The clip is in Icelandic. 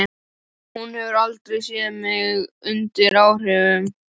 Hún hefur aldrei séð mig undir áhrifum.